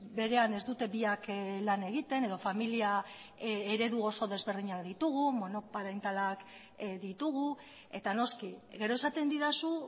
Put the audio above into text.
berean ez dute biak lan egiten edo familia eredu oso desberdinak ditugu monoparentalak ditugu eta noski gero esaten didazu